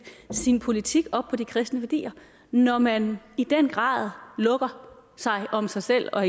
sin politik op på de kristne værdier når man i den grad lukker sig om sig selv og